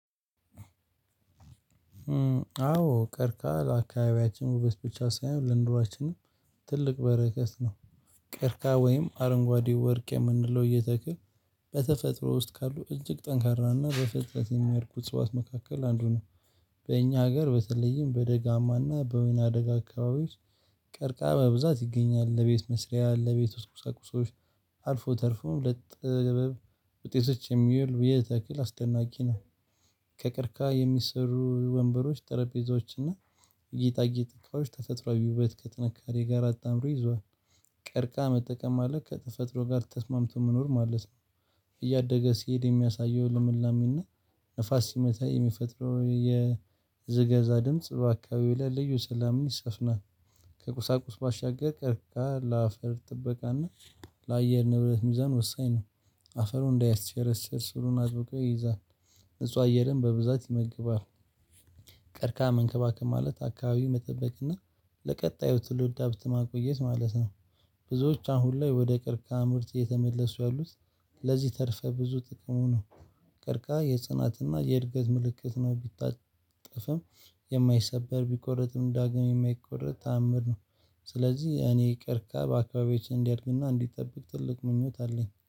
አዎ ቀርቷል አካባቢያችን ውበት ብቻ ሳይሆን ለንኑሮችንም ትልቅ በረከት ነው። ቀርከሃ ወይም አረንጓዴ ወርቅ የምንለው የተክል በተፈጥሮ ውስጥ ካሉ እጅግ ጠንካራና በፍጥነት የሚያድጉት እጽዋት መካከል አንዱ ነው። በእኛ ሀገር በተለይም በደጋማና በወይና አደጋ አካባቢዎች። ቀርከሃ በብዛት ይገኛል ለቤት መስሪያ ለቤት ውስጥ ቁሳቁሶች። አልፎ ተርፎ ለጥበብ ውጤቶች የሚውል የተክል አስደናቂ ነው። ከቀርከሃ የሚሰሩ ወንበሮች ጠረጴዛዎችና ጌጣጌጥ እቃዎች ተፈጥሮዊ ውበትን እና ከጥንካሬ ጋር አጣምሮ ይዟል። ቀርከሃ መጠቀም ማለት ከተፈጥሮ ጋር ተስማምቶ መኖር ማለት ነው። እያደገ ሲሄድ የሚያሳየው ለምላሜና ንፋስ ሲመታው የሚፈጥረው የዘገዛ ድምጽ በአካባቢው ላይ ልዩ ሰላምን ይሰፍናል። ከቁሳቁስ ባሻገር ቀርከሃ ለአፈር ጥበቃና ለአየር ንብረት ሚዛን ወሳኝ ነው። አፈሩ እንዳያስሸረሸር ስሩን አጥብቆ ይይዛል። ንጹህ አየርን በብዛት ይመገባል። ቀርከሃ መንከባከብ ማለት አካባቢው መጠበቅ እና ለቀጣዩ ትልድ ሀብት ማቆየት ማለት ነው። ብዙዎች አሁን ላይ ወደ ቅርከሃ ምርት እየተመለሱ ያሉት። ለዚህ ተርፈ ብዙ ጥቅሙ ነው። ቀርከሃ የጽናትና የእድገት ምልክት ነው ቢታጠፍም የማይሰበር ቢቆርጥም ዳግም የማይቆርጥ ተአምር ነው። ስለዚህ እኔ ቀርከብ አካባቢዎችን እንዲያደርግና እንዲጠብቅ ትልቅ ምኞት አለኝ